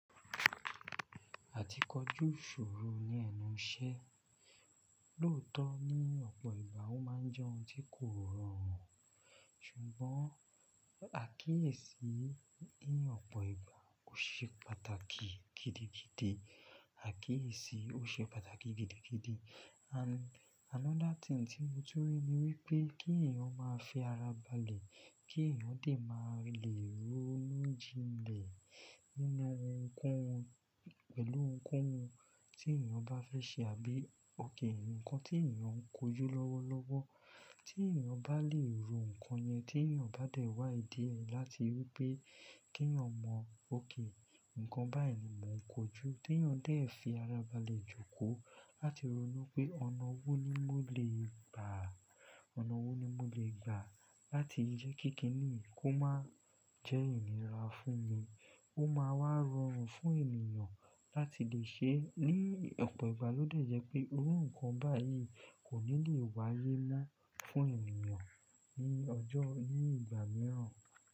Àtíkọjù isoro ní ẹnu iṣẹ́, lóòótọ́ ní ọ̀pọ̀ ìgbà ó má a jẹ́ ohun tí kò rọrùn, ṣùgbọ́n àkíyèsí ní ọ̀pọ̀ ìgbà ó ṣe pàtàkì gidigidi, àkíyèsí ó ṣe pàtàkì gidigidi. Another thing tí mo tun ri ni wípé kí èèyàn má a fi ara balẹ̀, kí èèyàn dè má a lè ronu jile nínú ohun ko ohun, pẹ̀lú ohun ko ohun tí èèyàn bá fẹ́ ṣe àbí òkè nǹkan tí èèyàn ń kojú lọ́wọ́lọ́wọ́. Tí èèyàn bá lè ro nǹkan yẹn, tí èèyàn bá dẹ̀ wá ìdí rẹ̀ láti wípé kí èèyàn mọ òkè nǹkan báyìí ni mò ń kojú, tí èèyàn dẹ̀ fi ara balẹ̀ jókòó láti ronú pé ọ̀nà wò ní mò lè gbà, ọ̀nà wò ní mò lè gbà láti ri jẹ́ kí kíni kó má a jẹ́ ìnira fún mi, ó má a wá rọrùn fún èèyàn láti lè ṣe é. Ní ọ̀pọ̀ ìgbà ló dẹ̀ jẹ́ pé iru nǹkan báyìí kò ní lè wáyé mọ́ fún èèyàn ní ọjọ́, ní ìgbà mìíràn.